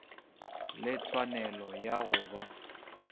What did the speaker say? le tshwanelo ya go ba